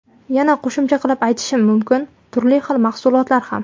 Yana qo‘shimcha qilib aytishim mumkin - turli xil mahsulotlar ham.